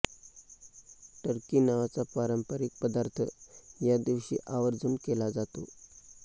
Turkey नावाचा पारंपरिक पदार्थ या दिवशी आवर्जून केला जातो